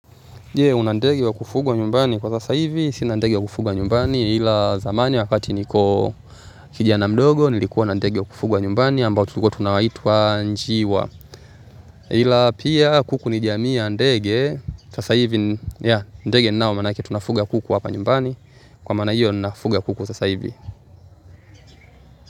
Una ndege wa kufugwa nyumbani kwa sasa hivi? Sina ndege wa kufuga nyumbani ila zamani wakati niko kijana mdogo nilikuwa na ndege wa kufugwa nyumbani ambao tulikuwa tunaitwa njiwa. Ila pia kuku ni jiamii ya ndege sasa hivi ya ndege ninao maanake tunafuga kuku hapa nyumbani kwa maana hiyo nafuga kuku sasa hivi.